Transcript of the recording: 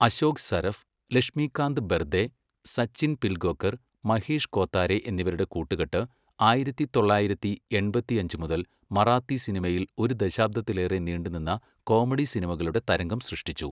അശോക് സരഫ്, ലക്ഷ്മികാന്ത് ബെർദേ, സച്ചിൻ പിൽഗോങ്കർ, മഹേഷ് കോത്താരെ എന്നിവരുടെ കൂട്ടുകെട്ട് ആയിരത്തി തൊള്ളായിരത്തി എൺപത്തിയഞ്ച് മുതൽ മറാത്തി സിനിമയിൽ ഒരു ദശാബ്ദത്തിലേറെ നീണ്ടുനിന്ന കോമഡി സിനിമകളുടെ തരംഗം സൃഷ്ടിച്ചു.